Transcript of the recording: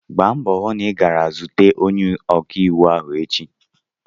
Gba mbọ hụ na ị gara zute onye ọkaiwu ahụ echi!